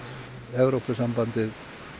Evrópusambandið